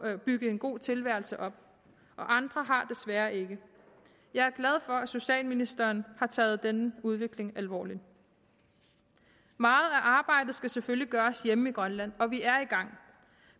at bygge en god tilværelse op og andre har desværre ikke jeg er glad for at socialministeren har taget denne udvikling alvorligt meget af arbejdet skal selvfølgelig gøres hjemme i grønland og vi er i gang